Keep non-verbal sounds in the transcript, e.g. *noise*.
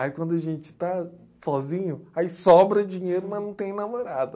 Aí quando a gente está sozinho, aí sobra dinheiro, mas não tem namorada. *laughs*